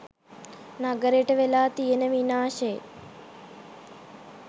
නගරෙට වෙලා තියෙන විනාශෙ.